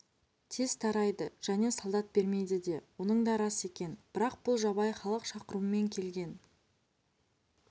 тез тарайды және солдат бермейді де оның да рас екен бірақ бұл жабайы халық шақырумен келген